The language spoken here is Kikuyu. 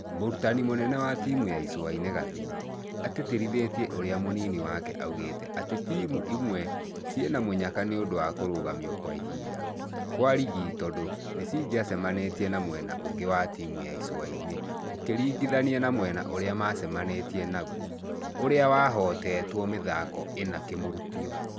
Mũrutani mũnene wa timũ ya Icũainĩ Gathii, atĩtĩrithirie ũrĩa mũnini wake augĩte atĩ timũ imwe ciĩ na mũnyaka nĩundũ wa kũrũgamio kwa ihinda kwa rigi tondũ nĩcingĩacemanĩtie na mwena ũngĩ wa timũ ya icũaini ũkiringithania na mwena ũrĩa macemanĩtie naguo ũrĩa wahotetwo mĩthako ĩna kĩrũmanĩrĩrio.